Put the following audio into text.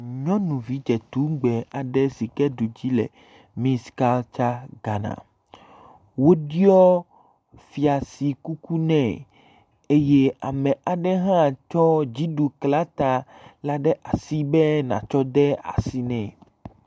Nyɔnuvi dzetugbe aɖe si ke ɖu dzi le miss kaltsa Ghana. Woɖɔ fiasi kuku nɛ eye ame aɖe hã tsɔ dziɖuklata la ɖe asi be natsɔ de asi nɛ.